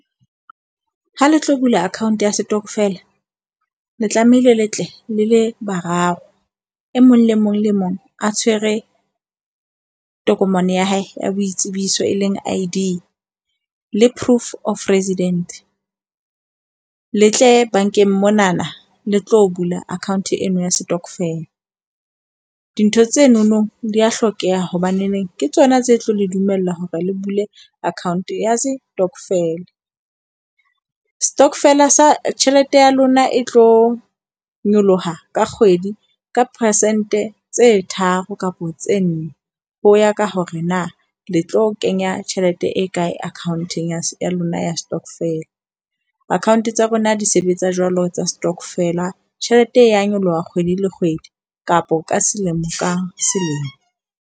Ha le tlo bula account ya setokofela le tlamehile le tle le le bararo. E mong le mong le mong a tshwere tokomane ya hae ya boitsebiso, e leng Id le proof of residence. Le tle bankeng monana le tlo bula account eno ya stokvel. Dintho tsenono di a hlokeha hobaneneng ke tsona tse tlo le dumellwa hore le bule account ya stokvel. Stokvel sa tjhelete ya lona e tlo nyoloha ka kgwedi, ka percent-e tse tharo kapo tse nne. Ho ya ka hore na le tlo kenya tjhelete e kae account-eng ya lona ya stokvel. Account tsa rona di sebetsa jwalo tsa stokvel-a. Tjhelete e ya nyoloha kgwedi le kgwedi kapo ka selemo ka selemo.